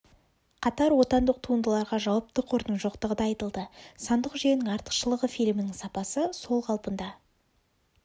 қатар отандық туындыларға жауапты қордың жоқтығы да айтылды сандық жүйенің артықшылығы фильмнің сапасы сол қалпында